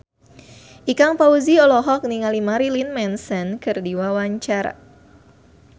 Ikang Fawzi olohok ningali Marilyn Manson keur diwawancara